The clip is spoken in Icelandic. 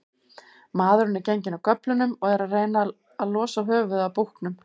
Maðurinn er genginn af göflunum og er að reyna losa höfuðið af búknum.